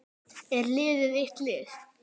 Er liðið eitt lið?